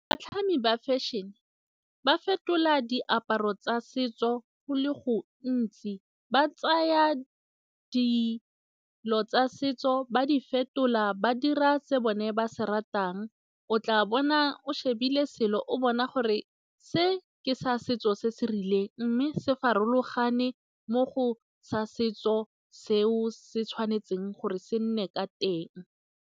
Batlhami ba fashion-e ba fetola diaparo tsa setso go le gontsi, ba tsaya dilo tsa setso ba di fetola ba dira se bone ba se o tla bona o shebile selo o bona gore se ke sa setso se se rileng mme se farologane mo go sa setso se o se tshwanetseng gore se nne ka teng.